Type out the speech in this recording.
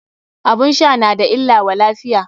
Abun sha na da illa wa lafiya.